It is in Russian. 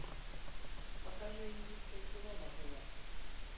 покажи индийское кино на тв